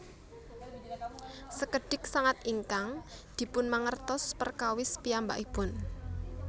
Sekedhik sanget ingkang dipunmangertos perkawis piyambakipun